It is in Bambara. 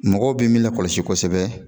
Mɔgɔw bɛ min lakɔlɔsi kosɛbɛ